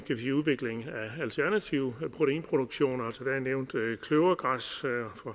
sige udviklingen af alternative proteinproduktioner altså der er nævnt kløvergræs